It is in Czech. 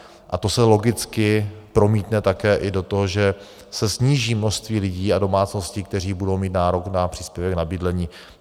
A to se logicky promítne také i do toho, že se sníží množství lidí a domácností, kteří budou mít nárok na příspěvek na bydlení.